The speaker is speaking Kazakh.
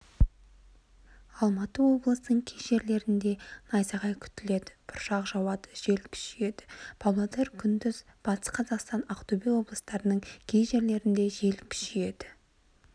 алматы облысының кей жерлерінде найзағай күтіледі бұршақ жауады жел күшейеді павлодар күндіз батыс қазақстан ақтөбе облыстарының кей жерлерінде жел күшейеді